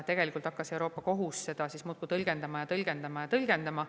Tegelikult hakkas Euroopa Kohus seda muudkui tõlgendama ja tõlgendama ja tõlgendama.